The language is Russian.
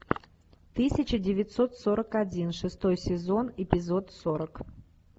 тысяча девятьсот сорок один шестой сезон эпизод сорок